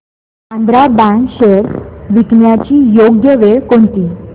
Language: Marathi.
आंध्रा बँक शेअर्स विकण्याची योग्य वेळ कोणती